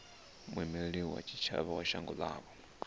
muimeli wa tshitshavha wa shango ḽavho